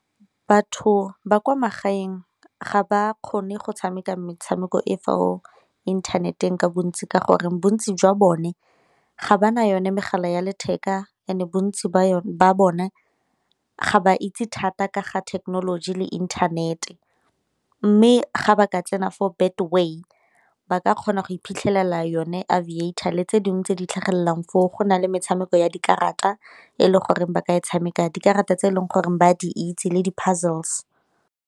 Batho ba kwa magaeng ga ba kgone go tshameka metshameko e fo inthaneteng ka bontsi ka gore bontsi jwa bone ga ba na yone megala ya letheka and-e bontsi ba bone ga ba itse thata ka ga thekenoloji le inthanete. Mme ga ba ka tsena fo Betway ba ka kgona go iphitlhelela yone Aviator le tse dingwe tse di tlhagellang foo, go na le metshameko ya dikarata e le goreng ba ka e tshameka dikarata tse e leng goreng ba di itse le di-puzzles.